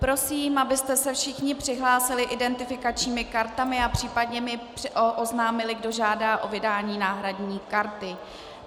Prosím, abyste se všichni přihlásili identifikačními kartami a případně mi oznámili, kdo žádá o vydání náhradní karty.